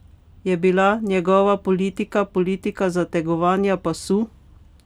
Je bila njegova politika politika zategovanja pasu?